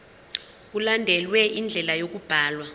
mkulandelwe indlela yokubhalwa